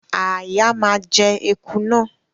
Àáyá ma jẹ eku náà